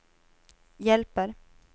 hjälper